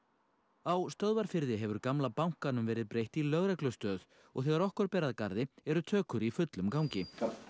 á Stöðvarfirði hefur gamla bankanum verið breytt í lögreglustöð og þegar okkur ber að garði eru tökur í fullum gangi